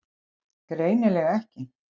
Greinilega ekki.